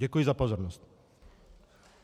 Děkuji za pozornost.